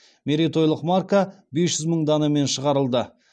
мерейтойлық марка бес жүз мың данамен шығарылды